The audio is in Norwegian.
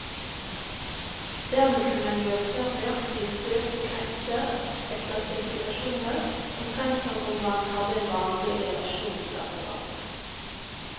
Dermed kunne man gjøre svært nøyaktige søk på kretser etter spesifikasjoner, omtrent som om man hadde en vanlig relasjonsdatabase.